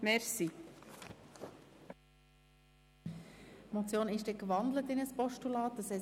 Die Motion ist in ein Postulat umgewandelt worden;